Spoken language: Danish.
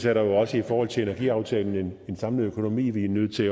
er der jo også i forhold til energiaftalen en samlet økonomi vi er nødt til